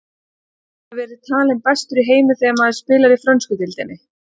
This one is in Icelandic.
Getur maður verið talinn bestur í heimi þegar maður spilar í frönsku deildinni?